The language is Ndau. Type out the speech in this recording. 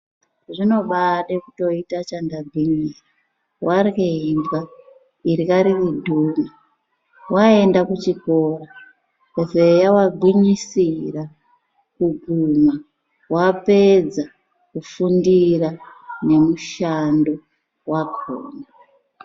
Zvinobade kutoita chandagwinyira warye imbwa irya riri dhuna, waenda kuchikora zeya wagwinyisira kuguma wapedza kufundira nemushando wakona.